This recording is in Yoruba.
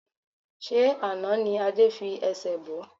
Ṣé àná ni Adé fi ẹsẹ̀ bo?